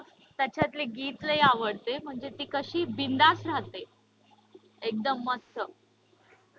त्याच्यातले गीत लय आवडते म्हणजे ते कशी बिनधास्त रहाते. एकदम मस्त.